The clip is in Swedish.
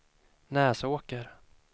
Näsåker